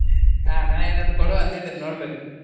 ಆ ನಾನ್ ಏನಾದ್ರು ಕೊಡುವ ಅಂತ ಇದ್ದೇನೆ ನೋಡ್ಬೇಕು.